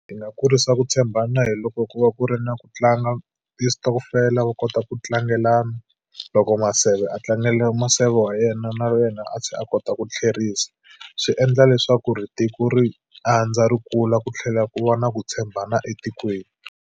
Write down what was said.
Ndzi nga kurisa ku tshembana hi loko ku va ku ri na ku tlanga ti sitokofela vo kota ku tlangelana. Loko maseve a tlangela maseve wa yena, na yena a tlhela a kota ku tlherisa. Swi endla leswaku ri tiko ri andza, ri kula, ku tlhela ku va na ku tshembana etikweni.